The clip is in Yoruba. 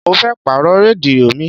Mo fẹ́ pàrọ̀ rédíò mi.